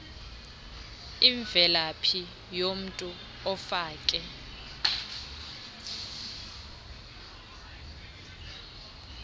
imvelaphi yomntu ofake